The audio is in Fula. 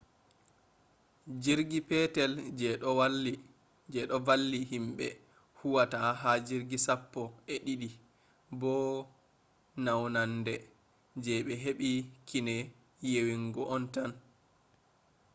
jirgi petel je do valli himbe huwata ha jirgi sappo-e-didi bo naunande je be hebi kine yewinga on tan